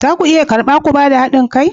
Za ku iya karba ku ba da hadin kai?